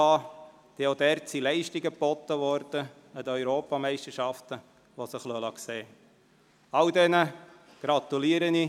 Auch in diesem Bereich wurden an den Europameisterschaften Leistungen geboten, welche sich sehen lassen.